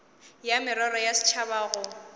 ya merero ya setšhaba go